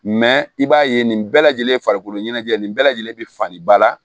i b'a ye nin bɛɛ lajɛlen farikolo ɲɛnajɛ nin bɛɛ lajɛlen be falen ba la